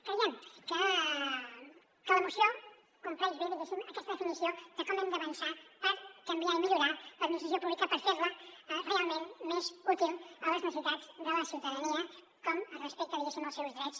creiem que la moció compleix bé diguéssim aquesta definició de com hem d’avançar per canviar i millorar l’administració pública per fer la realment més útil a les necessitats de la ciutadania com es respecten diguéssim els seus drets